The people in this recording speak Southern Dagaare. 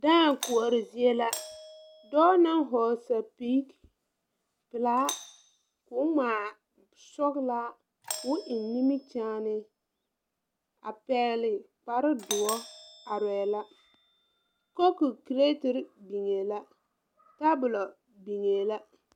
Dãã koɔre zie la dɔɔ naŋ hɔɔle sɛpige pilaa koo ngmaa sɔglaa koo eŋ nimikyaane a pɛɛle kparedoɔ areɛɛ la koku creterre biŋee la tabolɔ biŋee la.